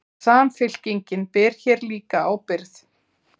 Samfylkingin ber hér líka ábyrgð